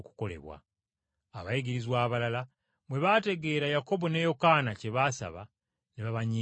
Abayigirizwa bali ekkumi bwe baategeera Yakobo ne Yokaana kye baasaba, ne babanyiigira nnyo.